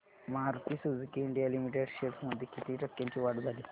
Maruti Suzuki India limited shares मध्ये किती टक्क्यांची वाढ झाली